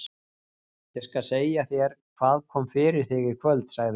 Ég skal segja þér hvað kom fyrir þig í kvöld, sagði hún.